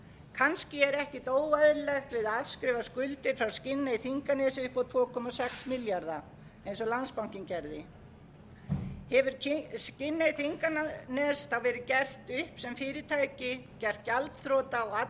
kannski er ekkert óeðlilegt við að afskrifa skuldir frá skinney þinganesi upp á tvö komma sex milljarða króna eins og landsbankinn gerði hefur skinney þinganes þá verið gert upp sem fyrirtæki gert gjaldþrota og allar